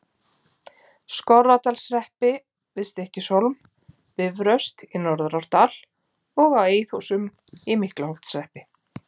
Skorradalshreppi, við Stykkishólm, Bifröst í Norðurárdal og á Eiðhúsum í Miklaholtshreppi.